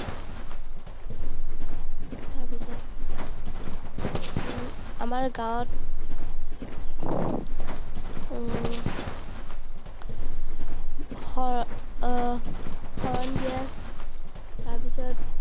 তাৰপিছত আমাৰ গাঁৱত উম শৰ~ শৰণ দিয়ে, তাৰপিছত